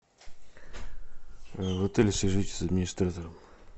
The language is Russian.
в отеле свяжитесь с администратором